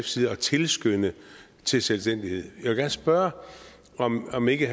side at tilskynde til selvstændighed gerne spørge om om ikke